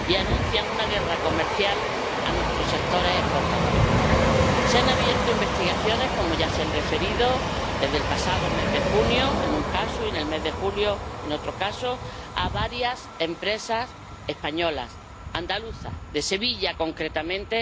Y anuncian una guerra comercial a nuestros sectores exportadores. Se han abierto investigaciones —como ya se han referido— desde el pasado mes de junio, en un caso, y en el mes de julio, en otro caso, a varias empresas españolas, andaluzas, de Sevilla concretamente